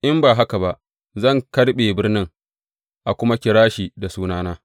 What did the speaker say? In ba haka ba zan karɓe birnin, a kuma kira shi da sunana.